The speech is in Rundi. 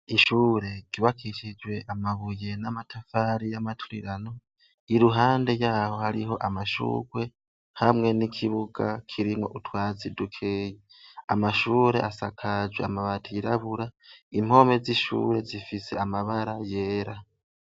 Ishure ryubakishijwe amabuye n'amatafari y'amaturirano iruhande yaho hariho amashurwe hamwe n'ikibuga kirimwo utwatsi dukeyi, amashure asakaje amabati yirabura impome z'ishure zifise amabara yera.